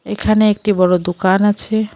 এখানে একটি বড় দোকান আছে।